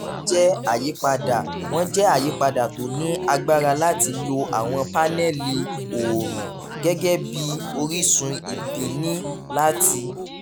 wọ́n jẹ́ àyípadà wọ́n jẹ́ àyípadà tó ní agbára láti lo àwọn paneli oorun gẹ́gẹ́ bí orísun ìbíni láti